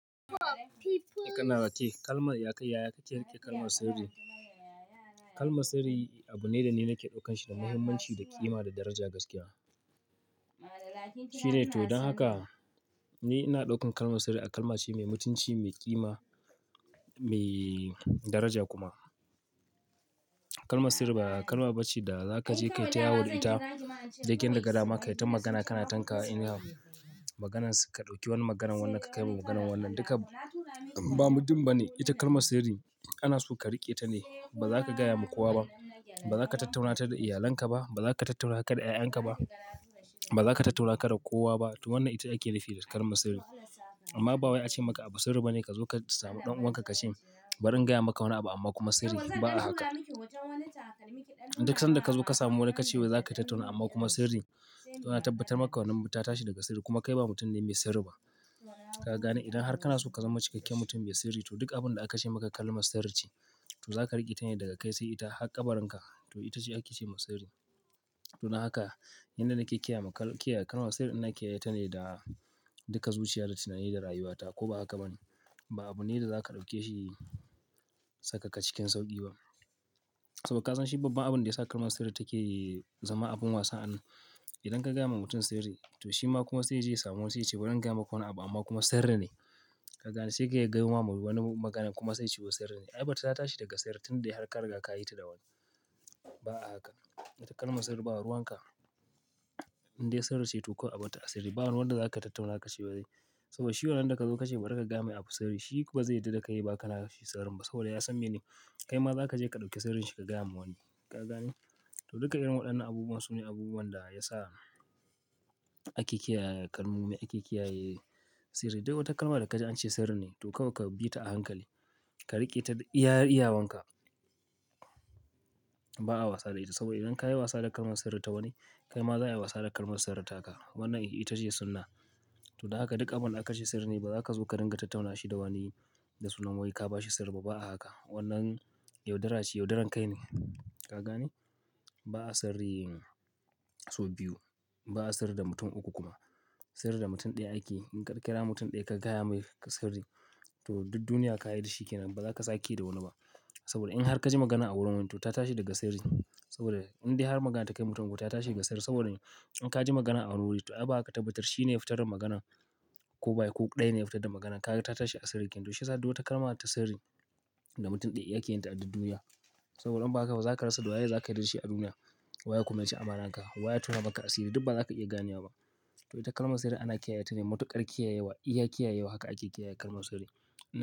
Kana ra, kalmar ya kai yaya ka ke riƙe kalmar sirri. Kalmar sirri abu ne da ni nake daukan shi da muhimmanci da ƙima, da daraja gaskiya. Cire to don haka ni ina daukar kalmar sirri a kalma ce mai mutunci, mai ƙima, mai daraja kuma. Kalmar sirri ba kalma ba ce da za ka je ka taya wa da ita, ka gidan da gadama ka yi ta magana ka na tanka wa anyhow maganar ka ɗauki wani maganar wannan ka kai wa maganar wannan. Duka ba mutum ba ne. Ita kalmar sirri ana so ka riƙe ta ne. Ba za ka gaya ma kowa ba. Ba za ka tattauna ta da iyalanka ba. Ba za ka tattauna ta da 'ya'yanka ba. Ba za ka tattauna ka da kowa ba. To wannan ita ake nufi da kalmar sirri. Amma ba wai a ce maka abu sirri ba ne ka zo ka samu ɗan uwanka ka ce min bari in gaya maka wani abu amma kuma sirri. Ba a haka. Duk sanda ka zo ka samu wani ka ce wai za ka yi tattauna amma kuma sirri, to ana tabbatar maka wannan ta tashi daga sirri kuma kai ba mutum ne mai sirri ba. Ka gane? Idan har kana so ka zama cikakken mutum mai sirri, to duk abin da aka ce maka kalmar sirri ce, to za ka riƙe ta ne daga kai sai ita har ƙabaranka. To ita ce ake ce ma sirri. To don haka, yanda nake kiyaye ma kalmar sirri ina kiyaye ta ne da duka zuciya da tunani da rayuwata. Ko ba haka ba ne? Ba abu ne da za ka ɗauke shi saka ka cikin sauƙi ba. Saboda ka san shi babban abin da yasa kalmar sirri take zama abin wasa an. Idan ka gaya wa mutum sirri, to shi ma kuma sai ya je ya samu wani sai ya ce bari in gaya maka wani abu amma kuma sirri ne. Ka gane? Sai ka ya gayo ma wani magana kuma sai ya ce sirri ne. Ai bata tashi daga sirri tun dai har ka riga ka yi ta da wani. Ba a haka. Ita kalmar sirri ba ruwan ka. Indai sirri ce to kawai a batta a sirri. Ba wanda za ka tattauna ka ce wai. Saboda shi wannan da ka zo ka ce bari ka gaya mai abu sirri, shi ba zai yadda da kai ya ba ka na shi sirrin ba. Saboda ya san mene? Kai ma za ka je ka ɗauki sirrin shi ka gaya wa wani. Ka gane? To duka irin waɗannan abubuwan su ne abubuwan da ya sa ake kiyaye kalmomi, ake kiyaye sirri. Duk wata kalma da ka ji an ce sirri ne, to kawai ka bi ta a hankali. Ka riƙe ta da iya iyawanka. Ba a wasa da ita saboda idan ka yi wasa da kalmar sirri ta wani, kai ma za a yi wasa da kalmar sirri ta ka. Wannan ita ce sunna. To don haka duk abin aka ce sirri ne, ba za ka zo ka ringa tattauna shi da wani da sunan wai ka ba shi sirri ba. Ba a haka. Wannnan yaudara ce, yaudarar kai ne. Ka gane? Ba a sirri sau biyu. Ba a sirri da mutum uku kuma. Sirri da mutum ɗaya ake. In ka ƙira mutum ɗaya ka gaya mai ka sirri, to duk duniya ka yi da shi ke nan. Ba za ka sake da wani ba. Saboda in har ka ji magana a wurin wani to ta tashi daga sirri. Saboda indai har magana ta kai mutum uku ta tashi daga sirri. Saboda in ka ji magana a wuri, to ai ba ka tabbatar shi ne ya fitar da maganan ko ba shi ko ɗaya ne ya fitar da maganan. Kagai ta tashi a sirri kinyan. To shi ya sa duk wata kalma ta sirri da mutum ɗaya yake yin ta a duk duniya. Saboda in ba haka ba za ka rasa doya da za ka yi da shi a duniya. Waye kuma yaci amanan ka. Wa ya tona maka a sirri. Duk ba za ka iya gane wa ba. To ita kalmar sirri ana kiyaye ta ne matuƙar kiyayewa, iya kiyayewa haka ake kiyaye kalmar sirri.